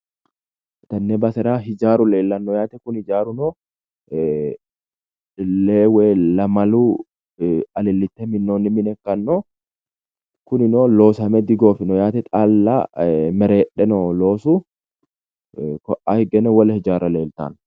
Tenne basera hijaaru leellannoyaate. Kuni hijaaruno lewu woyi lamalu alillite minnoonni mine ikkanno. Kunino loosame digoofino yaate xaalla mereedhe nooho loosu. Ka'aa higgeno wole hijaarra leeltanno.